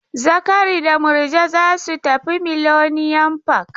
Zakari da Murja za su tafi Millennium park.